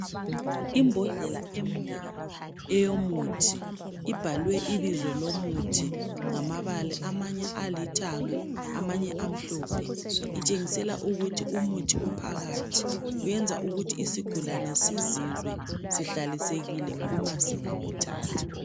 Imbodlela emnyama eyomuthi ibhalwe ibizo lomuthi ngamabala amanye alithanga amanye amhlophe. Itshengisela ukuthi umuthi ophakathi uyenza ukuthi isigulane sizizwe sihlalisekile uma singawuthatha.